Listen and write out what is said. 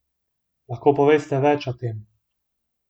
Lahko poveste več o tem?